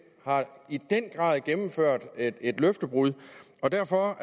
i den grad har gennemført et løftebrud og derfor